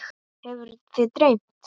Hefur þig dreymt?